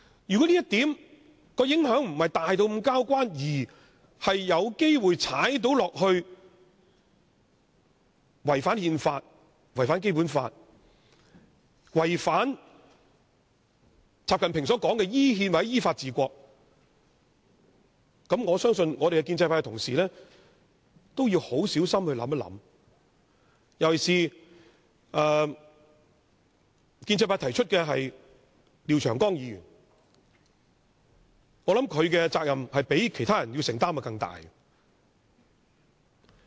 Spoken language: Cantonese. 如果這項修訂的影響並非那麼大，卻有機會違反憲法、《基本法》，以及習近平說的依憲或依法治國，我相信建制派同事也要很小心考慮，尤其是提出修訂的建制派廖長江議員，我認為他須要承擔的責任較其他人更大。